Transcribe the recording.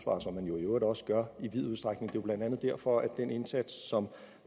og som man jo i øvrigt også gør i vid udstrækning det er jo blandt andet derfor at den indsats som